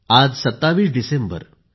आज 27 डिसेंबर आहे